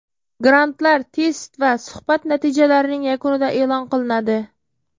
Grantlar test va suhbat natijalarining yakunida elon qilinadi.